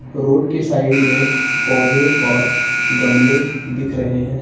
Road के side में पौधे और गमले दिख रहे हैं।